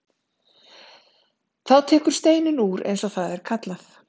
Þá tekur steininn úr eins og það er kallað.